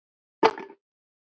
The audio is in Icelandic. spurði Snorri.